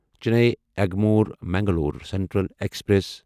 Chennai Egmore Mangalore central express